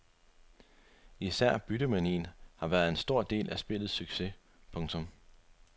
Især byttemanien har været en stor del af spillets succes. punktum